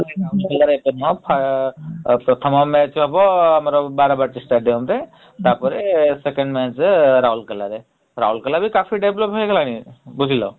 ରାଉରକେଲା ରେ ଏତେ ନୁହଁ ପ୍ରଥମ match ହବ ଆମର ବାରବାଟୀ stadium ରେ ତାପରେ second match ରାଉରକେଲା ରେ । ରାଉରକେଲା ବି କାଫି develop ହେଇଗଲାଣି । ବୁଝିଲ ।